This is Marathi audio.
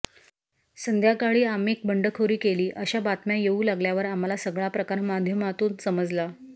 संध्याकाळी आम्ही बंडखोरी केली अशा बातम्या येऊ लागल्यावर आम्हाला सगळा प्रकार माध्यमांतून समजला